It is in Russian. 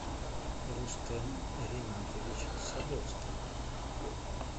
рустем ринатович садовский